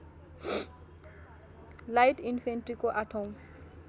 light इनफेन्ट्रीको आठौँ